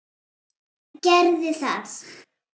Gerðu það!